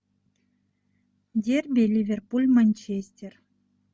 дерби ливерпуль манчестер